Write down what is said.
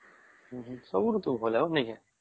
ସବୁ ଋତୁ ଭଲ ନାଇଁ କେ